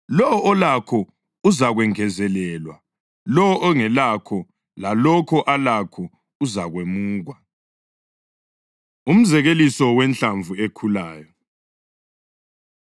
Lowo olakho uzakwengezelelwa; lowo ongelakho lalokho alakho uzakwemukwa.” Umzekeliso Wenhlamvu Ekhulayo